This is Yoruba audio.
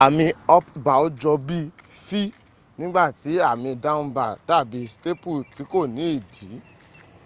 àmì up bow jọ bí v nígbàtí àmì down bow dàbí staple ti kò ní ìdí